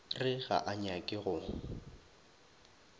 re ga a nyake go